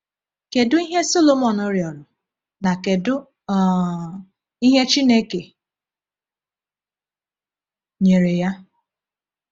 Kedu ihe Sọlọmọn rịọrọ, na kedu um ihe Chineke nyere ya?